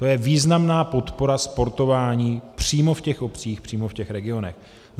To je významná podpora sportování přímo v těch obcích, přímo v těch regionech.